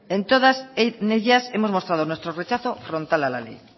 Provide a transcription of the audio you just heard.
en todas ellas hemos mostrado nuestro rechazo frontal a la ley